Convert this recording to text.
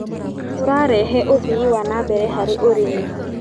Ũrarehe ũthii wa na mbere harĩ ũrĩmi.